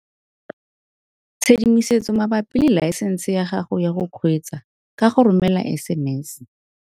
Tshedimosetso mabapi le laesense ya gago ya go kgweetsa ka go romela SMS.